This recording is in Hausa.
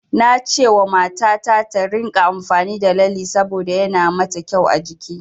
Nacewa mata ta, ta ringa amfani da lalle saboda yana ma ta kyau a jiki.